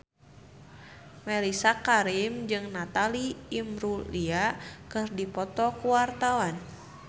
Mellisa Karim jeung Natalie Imbruglia keur dipoto ku wartawan